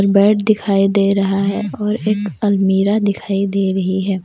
Bed दिखाई दे रहा है और एक अलमीरा दिखाई दे रही है।